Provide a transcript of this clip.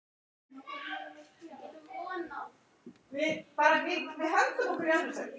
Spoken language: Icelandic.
Góða skemmtun!